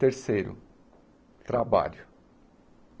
Terceiro, trabalho.